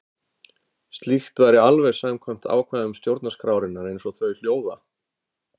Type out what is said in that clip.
Slíkt væri alveg samkvæmt ákvæðum stjórnarskrárinnar, eins og þau hljóða.